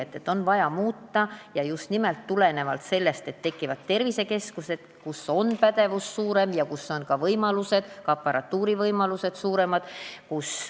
Seda on vaja muuta ja just nimelt tulenevalt sellest, et tekivad tervisekeskused, kus on suurem pädevus ja kus on ka paremad võimalused, seal on parem aparatuur.